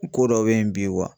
Ko dɔ bɛ yen bi